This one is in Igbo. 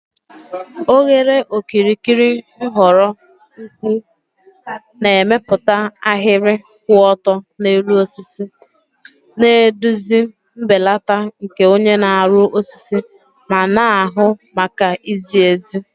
Oghere okirikiri nhọrọ ukwuu na-emepụta ahịrị kwụ ọtọ n'elu osisi, na-eduzi mbelata nke onye na-arụ osisi ma na-ahụ maka izi ezi